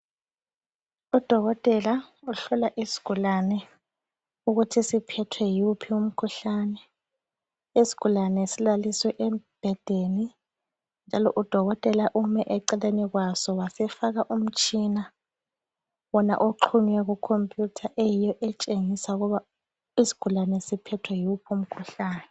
Udokotela uhlola isgulane ukuthi siphethwe yiwuphi umkhuhlane. Isgulane silalisiwe embhedeni, njalo udokotela ume eceleni kwaso wasefaka umtshina wona oxhunywe kukhompuyutha eyiyo etshengisa ukuba isgulane siphethwe yiwuphi umkhuhlane.